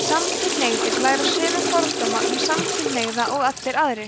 samkynhneigðir læra sömu fordóma um samkynhneigð og allir aðrir